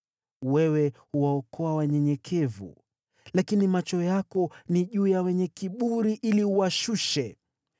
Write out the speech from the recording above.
Wewe huwaokoa wanyenyekevu, lakini macho yako ni juu ya wenye kiburi ili uwashushe.